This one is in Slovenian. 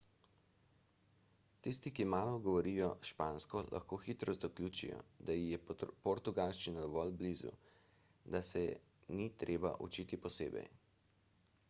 tisti ki malo govorijo špansko lahko hitro zaključijo da ji je portugalščina dovolj blizu da se je ni treba učiti posebej